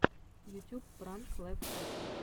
ютюб пранк лайфхаки